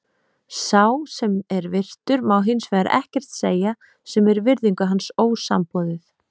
Sá, sem er virtur, má hins vegar ekkert segja, sem er virðingu hans ósamboðið.